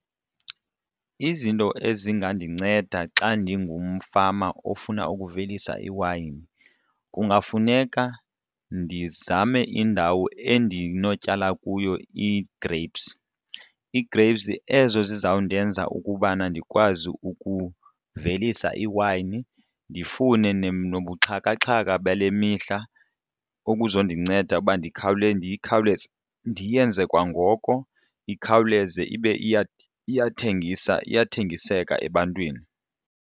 Izinto ezingandinceda xa ndingumfama ofuna ukuvelisa iwayini kungafuneka ndizame indawo endinotyala kuyo ii-grapes, ii-grapes ezo zizawundenza ukubana ndikwazi ukuvelisa iwayini ndifune nobuxhakaxhaka bale mihla okuzondinceda uba ndiyikhawuleze ndiyenze kwangoko ikhawuleze ibe iyathengisa ziyathengiseka ebantwini.